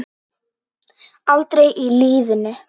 Aldrei í lífinu.